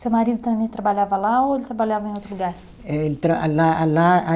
Seu marido também trabalhava lá ou ele trabalhava em outro lugar? Eh ele tra, lá lá a